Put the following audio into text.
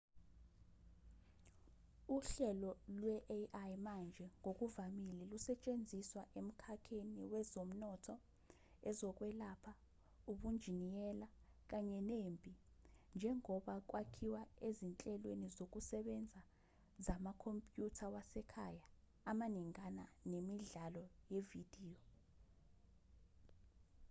uhlelo lwe-ai manje ngokuvamile lusetshenziswa emkhakheni wezomnotho ezokwelapha ubunjiniyela kanye nempi njengoba kwakhiwe ezinhlelweni zokusebenza zamakhompyutha wasekhaya amaningana nemidlalo yevidiyo